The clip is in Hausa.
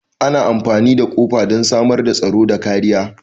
Ana amfani da kofa don samar da tsaro da kariya.